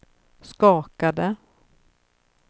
skakade